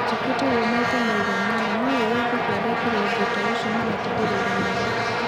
njĩkĩte ũgũo maita maigana ona no rĩrĩa Thuku arekire ũndũ ta ũcio maratindĩrĩire mũno